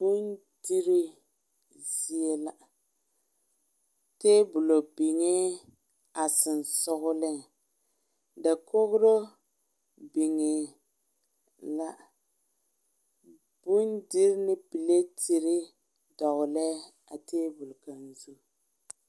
Bondire zie la, tabolɔ biŋɛ a sensɔleŋ dakori biŋɛ la bondiri ane laare dɔgeli la a tabol zu